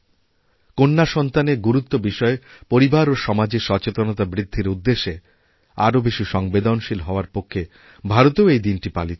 কন্যাসন্তানের গুরুত্ব বিষয়ে পরিবার ও সমাজে সচেতনতা বৃদ্ধিরউদ্দেশে আরও বেশি সংবেদনশীল হওয়ার পক্ষে ভারতেও এই দিনটি পালিত হয়